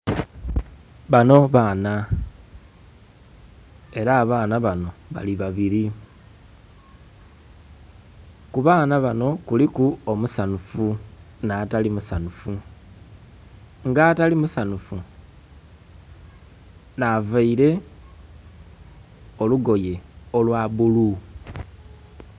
Banho baana ela abaana banho bali babili. Ku baana banho kuliku omusanhufu nh'atali musanhufu. Nga atali musanhufu nh'availe olugoye olwa bulu